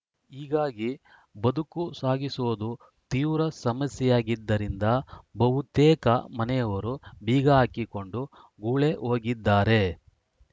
ಹೀಗಾಗಿ ಬದುಕು ಸಾಗಿಸುವುದು ತೀವ್ರ ಸಮಸ್ಯೆಯಾಗಿದ್ದರಿಂದ ಬಹುತೇಕ ಮನೆಯವರು ಬೀಗ ಹಾಕಿಕೊಂಡು ಗೂಳೆ ಹೋಗಿದ್ದಾರೆ